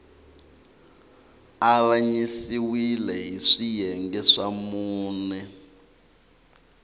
avanyisiwile hi swiyenge swa mune